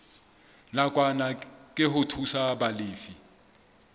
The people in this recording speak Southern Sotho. nakwana ke ho thusa balefi